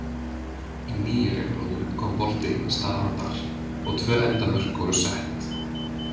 Í nýju reglunum kom bolti í stað andar og tvö endamörk voru sett.